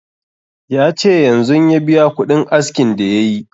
Ya ce yanzun ya biya kuɗin askin da yayi